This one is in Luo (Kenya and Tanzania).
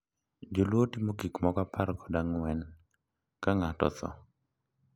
Joluo timo gik moko apar kod ang`wen ka ng`ato otho.